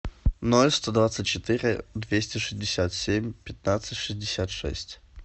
ноль сто двадцать четыре двести шестьдесят семь пятнадцать шестьдесят шесть